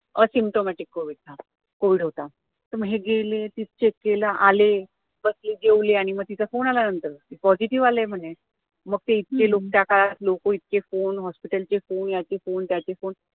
asymtomatic covid था, covid होता तर मग हे गेले तिथं check केलं आले बसले जेवले आणि मग तिचा phone आला नंतर positive आलाय म्हणे मग ते इथले लोक जाणार लोक इतके कोण hospital चे कोण, याचे कोण, त्याचे कोण